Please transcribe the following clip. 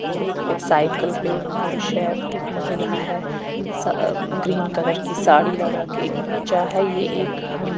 और एक पे साईकल पे एक पुरुष है एक महिला है अ ग्रीन कलर की साड़ी लगा के एक बच्चा है ये एक हम--